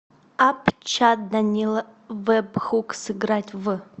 апп чат данила вебхук сыграть в